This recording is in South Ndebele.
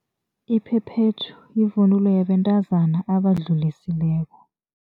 Iphephethu yivunulo yabantazana abadlulisileko.